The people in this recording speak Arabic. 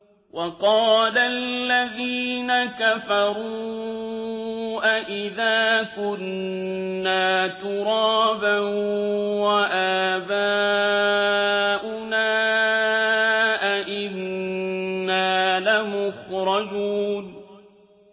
وَقَالَ الَّذِينَ كَفَرُوا أَإِذَا كُنَّا تُرَابًا وَآبَاؤُنَا أَئِنَّا لَمُخْرَجُونَ